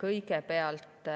Kõigepealt,